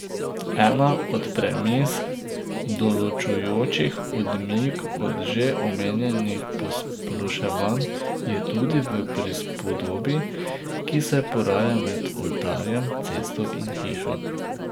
Ena od premis, določujočih odmik od že omenjenih posploševanj, je tudi v prispodobi, ki se poraja med oltarjem, cesto in hišo.